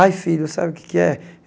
Ai, filho, sabe o que é que é?